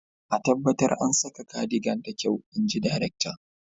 a tabbata an saka cardigan da kyau, in ji darakta